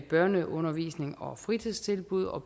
børneundervisning og fritidstilbud og